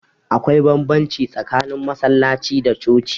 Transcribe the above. Akwai banbamci tsakanin masallaci da coci